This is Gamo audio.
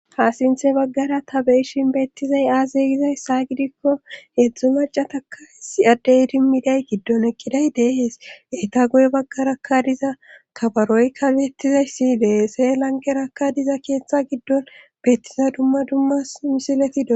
Haasinthe baggara ta beishin beettizay aazeygizayssa gidikko heedzdzu macataka issi addey idimmiday giddon eqqiday deehees eta goye baggaraka diza kabaroykkabeettizayssi dehese lanqerakka diza keeththa giddon beettiza dumma dummas misiletidoo.